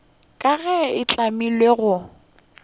ka ge e hlamilwe go